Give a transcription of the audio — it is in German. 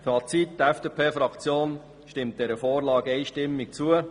Fazit: Die FDP-Faktion stimmt dieser Vorlage einstimmig zu.